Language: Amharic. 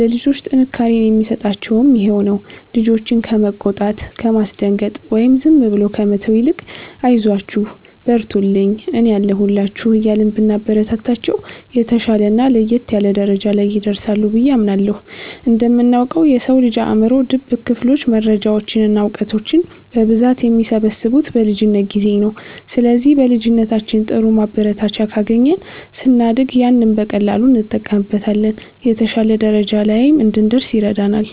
ለልጆች ጥንካሬን የሚሰጣቸውም ይሄው ነው። ልጆችን ከመቆጣት፣ ከማስደንገጥ ወይም ዝም ብሎ ከመተው ይልቅ 'አይዟችሁ፣ በርቱልኝ፣ እኔ አለሁላችሁ' እያልን ብናበረታታቸው፣ የተሻለና ለየት ያለ ደረጃ ላይ ይደርሳሉ ብዬ አምናለሁ። እንደምናውቀው፣ የሰው ልጅ አእምሮ ድብቅ ክፍሎች መረጃዎችን እና እውቀቶችን በብዛት የሚሰበስቡት በልጅነት ጊዜ ነው። ስለዚህ በልጅነታችን ጥሩ ማበረታቻ ካገኘን፣ ስናድግ ያንን በቀላሉ እንጠቀምበታለን፤ የተሻለ ደረጃ ላይም እንድንደርስ ይረዳናል።